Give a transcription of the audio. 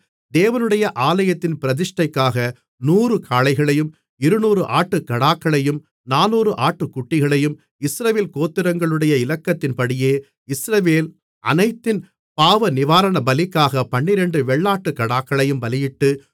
தேவனுடைய ஆலயத்தின் பிரதிஷ்டைக்காக நூறு காளைகளையும் இருநூறு ஆட்டுக்கடாக்களையும் நானூறு ஆட்டுக்குட்டிகளையும் இஸ்ரவேல் கோத்திரங்களுடைய இலக்கத்தின்படியே இஸ்ரவேல் அனைத்தின் பாவநிவாரணபலிக்காகப் பன்னிரண்டு வெள்ளாட்டுக்கடாக்களையும் பலியிட்டு